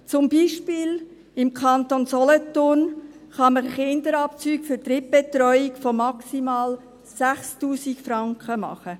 Zum Beispiel kann man im Kanton Solothurn Kinderabzüge für Drittbetreuung von maximal 6000 Franken machen;